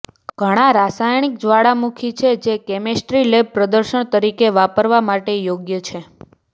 ઘણા રાસાયણિક જ્વાળામુખી છે જે કેમિસ્ટ્રી લેબ પ્રદર્શન તરીકે વાપરવા માટે યોગ્ય છે